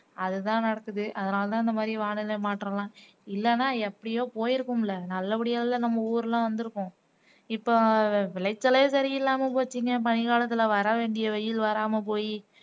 அது தான் நடக்குது அதனால தான் இந்த மாதிரி வானிலை மாற்றம் எல்லாம் இல்லன்னா எப்பயோ போயிருப்போம்ல நல்லபடியால்ல நம்ம ஊர்ல் எல்லாம் வந்துருக்கும் இப்போ விளைச்சலே சரி இல்லாம போச்சுங்க பனிக்காலத்துலவர வேண்டிய வெயில் வராம போயி